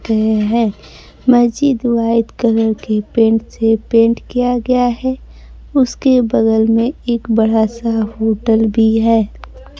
पे है महजिद वाइत कलर के पेंट से पेंट किया गया है उसके बगल में एक बड़ा सा होटल भी है।